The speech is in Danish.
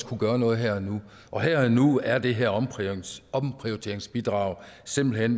kunne gøre noget her og nu og her og nu er det her omprioriteringsbidrag simpelt